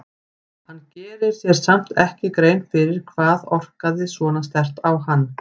Hann gerir sér samt ekki grein fyrir hvað orkaði svona sterkt á hann.